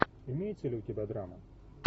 имеется ли у тебя драма